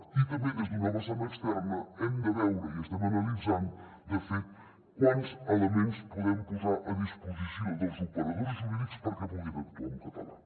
i també des d’una vessant externa hem de veure i estem analitzant de fet quants elements podem posar a disposició dels operadors jurídics perquè puguin actuar en català